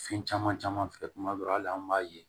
Fɛn caman caman al'an b'a ye